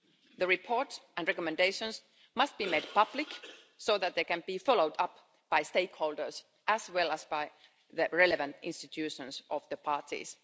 The report and recommendations must be made public so that they can be followed up by stakeholders, as well as by the relevant institutions of the parties.